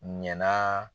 Ɲana